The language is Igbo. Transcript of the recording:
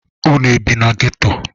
Unu ebị na geto?